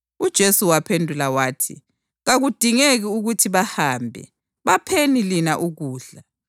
UJesu waphendula wathi, “Kakudingeki ukuthi bahambe. Bapheni lina ukudla.”